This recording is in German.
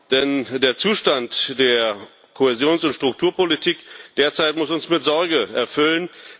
Denn der Zustand der Kohäsions und Strukturpolitik derzeit muss uns mit Sorge erfüllen.